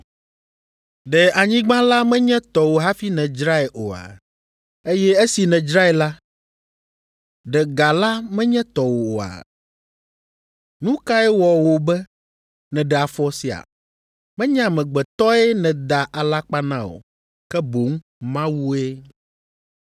Ɖe anyigba la menye tɔwò hafi nèdzrae oa? Eye esi nèdzrae la, ɖe ga la menye tɔwò oa? Nu kae wɔ wò be nèɖe afɔ sia? Menye amegbetɔe nèda alakpa na o, ke boŋ Mawue.”